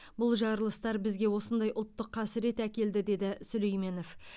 бұл жарылыстар бізге осындай ұлттық қасірет әкелді деді сүлейменов